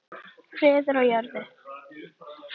Friður á jörðu.